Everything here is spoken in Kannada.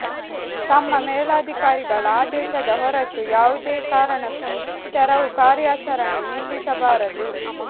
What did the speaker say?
ತಮ್ಮ ಮೇಲಾಧಿಕಾರಿಗಳ ಆದೇಶದ ಹೊರತು ಯಾವುದೇ ಕಾರಣಕ್ಕೂ ತೆರವು ಕಾರ್ಯಾಚರಣೆ ನಿಲ್ಲಿಸಬಾರದು